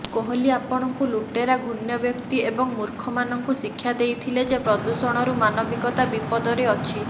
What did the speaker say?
କୋହଲି ଆପଣଙ୍କୁ ଲୁଟେରା ଘୃଣ୍ୟ ବ୍ୟକ୍ତି ଏବଂ ମୂର୍ଖମାନଙ୍କୁ ଶିକ୍ଷା ଦେଇଥିଲେ ଯେ ପ୍ରଦୂଷଣରୁ ମାନବିକତା ବିପଦରେ ଅଛି